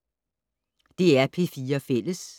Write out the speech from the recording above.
DR P4 Fælles